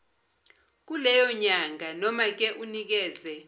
kuleyonyanga nomake unikeze